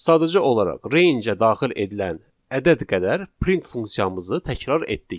Sadəcə olaraq rangeə daxil edilən ədəd qədər print funksiyamızı təkrar etdik.